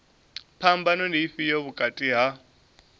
phambano ndi ifhio vhukati ha